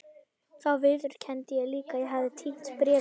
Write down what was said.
Þá viðurkenndi ég líka að ég hefði týnt bréfunum.